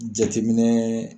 Jateminɛ